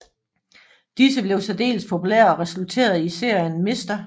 Disse blev særdeles populære og resulterede i serien Mr